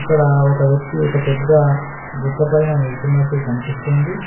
ఇక్కడ ఒక వ్యక్తి ఒక పెద్ద గుట్ట పైన నిల్చున్నట్టు కనిపిస్తోంది.